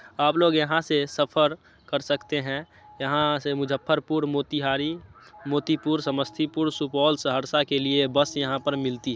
आप लोग यहाँ से सफर कर सकते हैं। यहाँ से मुज्जफरपुर मोतिहारी मोतीपुर समस्तीपुर सुपौल सहरसा के लिए बस यहाँ पर मिलती--